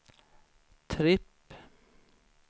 tripp